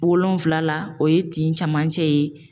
Wolonfila la o ye tin camancɛ ye.